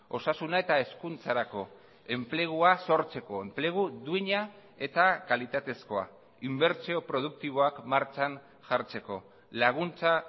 osasuna eta hezkuntzarako enplegua sortzeko enplegu duina eta kalitatezkoa inbertsio produktiboak martxan jartzeko laguntza